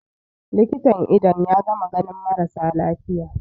likitan idon ya gama ganin marasa lafiya